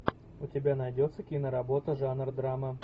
у тебя найдется киноработа жанра драма